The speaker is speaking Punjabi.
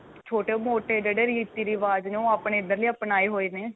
ਛੋਟੇ ਮੋਟੇ ਜਿਹੜੇ ਰੀਤੀ ਰਿਵਾਜ਼ ਨੇ ਉਹ ਆਪਣੇ ਇੱਧਰਲੇ ਆਪਣਾਏ ਹੋਏ ਨੇ